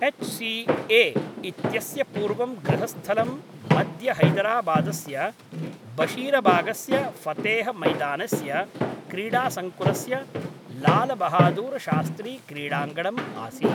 H C A इत्यस्य पूर्वं गृहस्थलं मध्यहैदराबादस्य बशीरबागस्य फतेह मैदानस्य क्रीडासङ्कुलस्य लालबहादुरशास्त्रीक्रीडाङ्गणम् आसीत् ।